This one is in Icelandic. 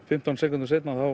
fimmtán sekúndum seinna